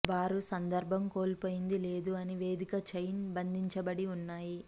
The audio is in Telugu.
వారు సందర్బం కోల్పోయింది లేదు అని వేదిక చైన్ బంధించబడి ఉన్నాయి